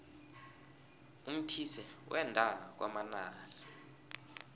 umthise wenda kwamanala